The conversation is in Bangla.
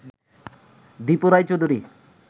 দিপু রায় চৌধুরী